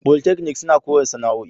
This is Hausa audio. Polytechnic suna koya sana'o'i.